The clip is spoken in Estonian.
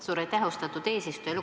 Suur aitäh, austatud eesistuja!